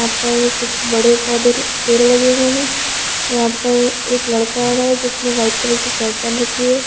यहां पर कुछ बड़े पौधे पेड़ लगे हुए हैं यहां पर एक लड़का आ रहा है जिसने वाइट कलर की शर्ट पहन रखी है।